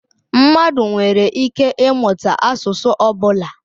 Mmadụ nwere ike ịmụta asụsụ ọ bụla.